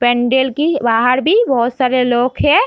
Pendant के बाहर भी बहुत सारे लोग हैं।